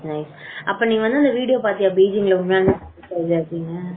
அஹ அப்போ வந்து நீ அந்த வீடியோ பாத்தியா அந்த பீச்ல இருக்கிறது எப்டின்னு